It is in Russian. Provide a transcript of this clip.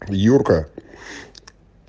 юрка